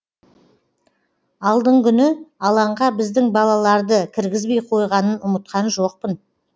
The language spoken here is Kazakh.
алдыңгүні алаңға біздің балаларды кіргізбей қойғанын ұмытқан жоқпын